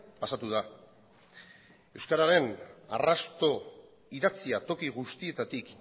pasatu da euskararen arrasto idatzia toki guztietatik